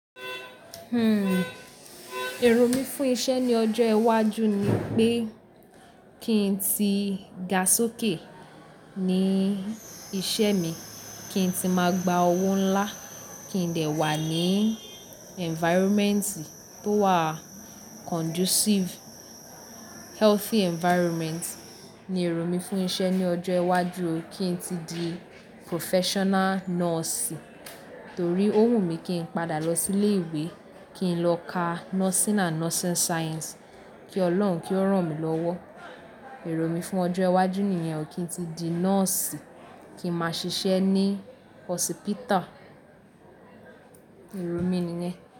Hmm, èrò mí fún isẹ́ ní ọjọ́ iwájú ni pé kí n tí ga sókè ní isẹ́ mi, kí n tí máa gba owó ńlá, kí n dẹ̀ wà ní environment tí ó wà conducive, healthy environment ni èrò mí fún isẹ́ ní ọjọ́ iwájú o, kí n tí di professional nọ́ọ̀sì. Torí ó wù mí kí n padà lọ sí ilé ìwé, kí n lọ ka Nursing and Nursing Science. Kí Ọlọ́run kí ó rán mi lọ́wọ́. Èrò mí fún ọjọ́ iwájú nìyẹn o, kí n tí di nọ́ọ̀sì, kí n máa ṣiṣẹ́ ní hosípità. Èrò mí nìyẹn.